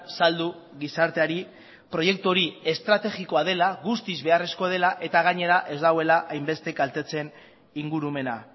saldu gizarteari proiektu hori estrategikoa dela guztiz beharrezkoa dela eta gainera ez dagoela hainbeste kaltetzen ingurumena